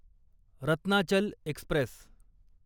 Ratnachal Express